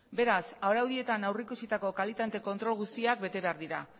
beraz araudietan aurrikusitako kalitate kontrol guztiak bete behar dira